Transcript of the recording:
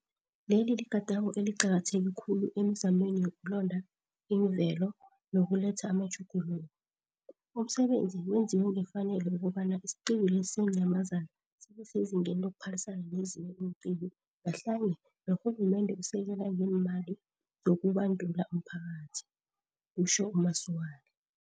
Leli ligadango eliqakatheke khulu emizamweni yokulonda iimvelo nokuletha amatjhuguluko. Umsebenzi wenziwe ngefanele ukobana isiqiwu lesi seenyamazana sibe sezingeni lokuphalisana nezinye iinqiwu ngahlanye norhulumende usekela ngeemali zokubandula umphakathi, kutjho u-Masualle.